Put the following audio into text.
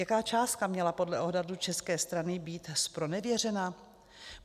Jaká částka měla podle odhadu české strany být zpronevěřena?